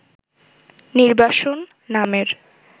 'নির্বাসন' নামের